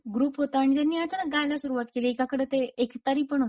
Group होताआणि त्यांनी अचानक गायला सुरवात केली; एकाकडे ते एकतारी पण होती.